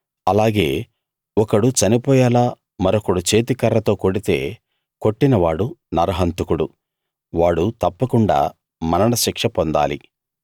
అలాగే ఒకడు చనిపోయేలా మరొకడు చేతి కర్రతో కొడితే కొట్టినవాడు నరహంతకుడు వాడు తప్పకుండా మరణశిక్ష పొందాలి